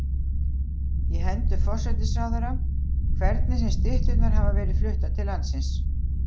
í hendur forsætisráðherra, hvernig sem stytturnar hafa verið fluttar til landsins.